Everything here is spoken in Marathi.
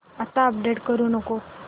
आता अपडेट करू नको